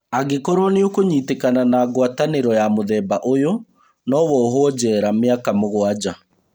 Angĩkorwo nĩũkũnyitĩkana na gwatanĩro ya mũthemba ũyũ, nowohwo njera mĩaka mũgwanja